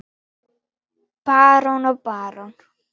Barón og barón